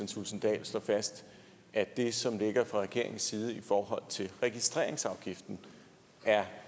thulesen dahl slår fast at det som ligger fra regeringens side i forhold til registreringsafgiften er